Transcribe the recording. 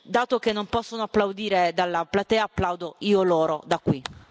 Dato che non possono applaudire dalla platea, applaudo io loro da qui.